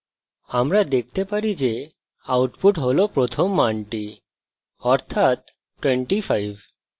আমরা দেখতে পারি output হল প্রথম মানটি অর্থাৎ 25